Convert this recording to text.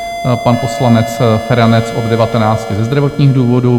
pan poslanec Feranec - od 19 ze zdravotních důvodů;